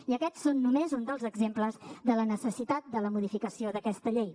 i aquests són només alguns dels exemples de la necessitat de la modificació d’aquesta llei